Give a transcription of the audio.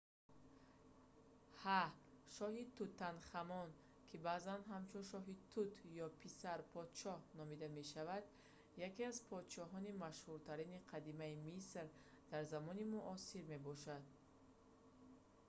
ҳа шоҳи тутанхамон ки баъзан ҳамчун шоҳи тут ё писар подшоҳ номида мешавад яке аз подшоҳони машҳуртарини қадимаи миср дар замони муосир мебошад